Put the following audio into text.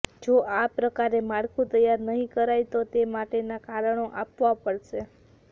જો આ પ્રકારે માળખું તૈયાર નહીં કરાય તો તે માટેના કારણો આપવા પડશે